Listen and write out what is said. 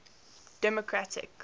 democratic